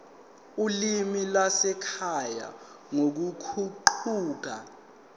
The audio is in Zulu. olimini lwasekhaya nangokuguquka